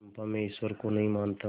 चंपा मैं ईश्वर को नहीं मानता